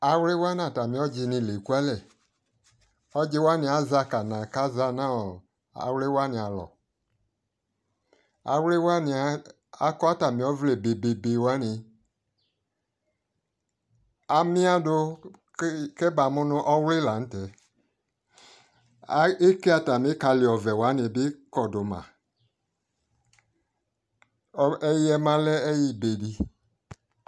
Awli wa nata mi ɔdzɔ ni lɛ kua lɛƆdzi wani azɛ akana ka za nɔ Awli wani alɔAwli wani akɔ ata mi ɔvlɛ bebebe waniAmiadu kɛba mu nu Ɔwli la ntɛ Eke ata mi kali ɔvlɛ bi kɔdu maɛyiɛ ma lɛ ɛyui be di